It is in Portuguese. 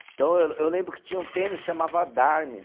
Então, eu eu lembro que tinha um tênis que chamava Dharma.